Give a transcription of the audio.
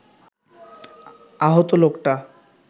আহত লোকটা